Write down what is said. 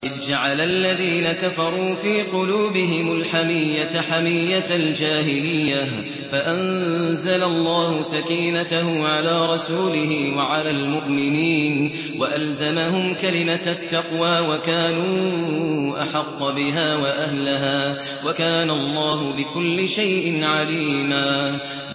إِذْ جَعَلَ الَّذِينَ كَفَرُوا فِي قُلُوبِهِمُ الْحَمِيَّةَ حَمِيَّةَ الْجَاهِلِيَّةِ فَأَنزَلَ اللَّهُ سَكِينَتَهُ عَلَىٰ رَسُولِهِ وَعَلَى الْمُؤْمِنِينَ وَأَلْزَمَهُمْ كَلِمَةَ التَّقْوَىٰ وَكَانُوا أَحَقَّ بِهَا وَأَهْلَهَا ۚ وَكَانَ اللَّهُ بِكُلِّ شَيْءٍ عَلِيمًا